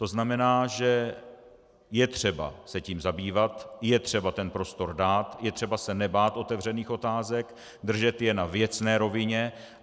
To znamená, že je třeba se tím zabývat, je třeba ten prostor dát, je třeba se nebát otevřených otázek, držet je na věcné rovině.